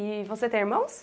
E você tem irmãos?